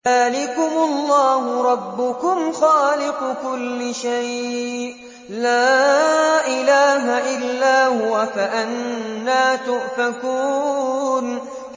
ذَٰلِكُمُ اللَّهُ رَبُّكُمْ خَالِقُ كُلِّ شَيْءٍ لَّا إِلَٰهَ إِلَّا هُوَ ۖ فَأَنَّىٰ تُؤْفَكُونَ